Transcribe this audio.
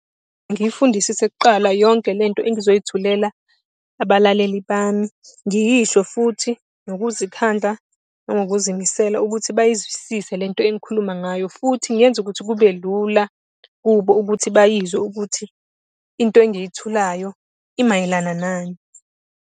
Ngiyifundisise kuqala yonke lento engizoyithulela abalaleli bami. Ngiyisho futhi ngokuzikhandla nangokuzimisela ukuthi bayizwisise lento engikhuluma ngayo, futhi ngenze ukuthi kube lula kubo ukuthi bayizwe ukuthi into engiyithulayo imayelana nani.